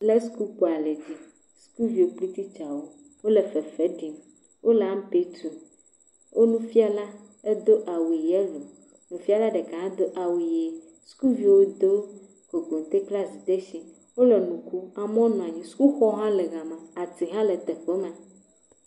Le sukukpo aɖe dzi. Sukuviwo kpli titsawo, wole fefe ɖim. Wole ampe tum. Wo nufiala edo awu yɛlo, nufiala ɖeka hã do awu ʋie. Sukuviwo do kokote kpli azidetsi, wole nu kom, amewo nɔ anyi. Sukuxɔ hã le gama, atiwo hã le teƒe ma.